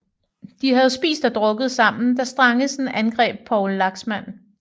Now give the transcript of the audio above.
De havde spist og drukket sammen da Strangesen angreb Poul Laxmand